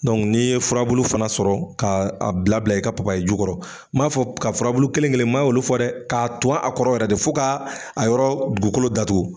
n'i ye furabulu fana sɔrɔ kaa a bilabila i ka papaye ju kɔrɔ, m'a fɔ ka furabulu kelen-kelen ma olu fɔ dɛ, k'a ton a kɔrɔ yɛrɛ de fo kaa a yɔrɔ dugukolo datugu.